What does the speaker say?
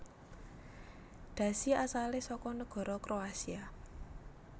Dhasi asalé saka negara Kroasia